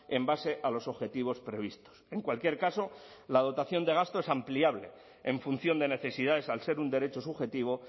en base a los objetivos previstos en cualquier caso la dotación de gastos ampliable en función de necesidades al ser un derecho subjetivo